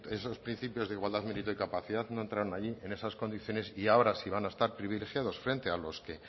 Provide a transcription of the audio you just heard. esos principios de igualdad mérito y capacidad no entraron allí en esas condiciones y ahora si van a estar privilegiados frente a los que